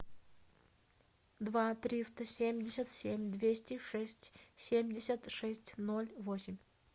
два триста семьдесят семь двести шесть семьдесят шесть ноль восемь